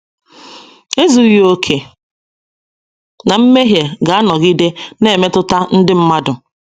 Ezughị okè na mmehie ga - anọgide na - emetụta ndị mmadụ.